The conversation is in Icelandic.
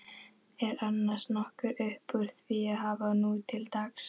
Er annars nokkuð uppúr því að hafa nútildags?